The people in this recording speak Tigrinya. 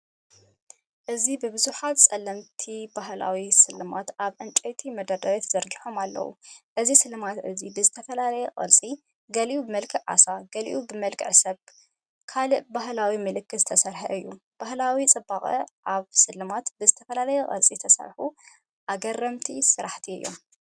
እዚ ብዙሓት ጸለምቲ ባህላዊ ስልማት ኣብ ዕንጨይቲ መደርደሪ ተዘርጊሖም ኣለዉ። እዚ ስልማት እዚ ብዝተፈላለየ ቅርጺ፡ ገሊኡ ብመልክዕ ዓሳ፡ ገሊኡ ብመልክዕ ሰብ፡ ካልእ ባህላዊ ምልክታት ዝስራሕ እዩ። ባህላዊ ጽባቐ ኣብ ስልማት፣ ብዝተፈላለየ ቅርጺ ዝተሰርሑ ኣገረምቲ ስራሕቲ እዮም።